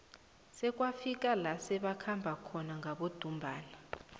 bekwafika la sebakhamba khona ngabodumbana